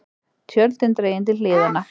Tjöldin dregin til hliðanna.